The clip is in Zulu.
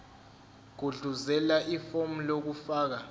gudluzela ifomu lokufaka